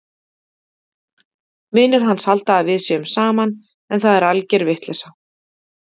Vinir hans halda að við séum saman en það er alger vitleysa!